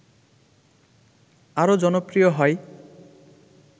আরও জনপ্রিয় হয়